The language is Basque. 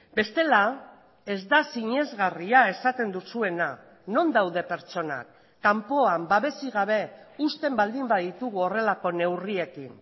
bestela ez da sinesgarria esaten duzuena non daude pertsonak kanpoan babesik gabe usten baldin baditugu horrelako neurriekin